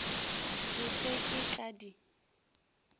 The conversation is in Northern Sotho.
ke se ke ka di